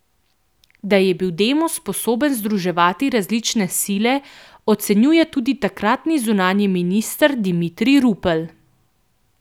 Da je bil Demos sposoben združevati različne sile, ocenjuje tudi takratni zunanji minister Dimitrij Rupel.